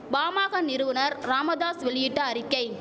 பாமாக நிறுவனர் ராமதாஸ் வெளியிட்ட அறிக்கை